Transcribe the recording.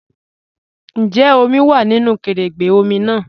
Ǹjẹ́ omi wá nínu kẹrẹ̀gbẹ̀ omi náà?